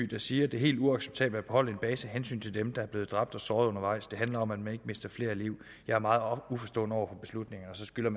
der siger det er helt uacceptabelt at beholde en base af hensyn til dem der er blevet dræbt og såret undervejs det handler om at man ikke mister flere liv jeg er meget uforstående overfor beslutningen man skylder